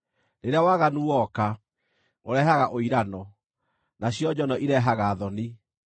Rĩrĩa waganu woka, ũrehaga ũirano, nacio njono irehaga thoni.